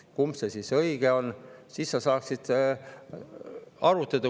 Kumb siis õige on?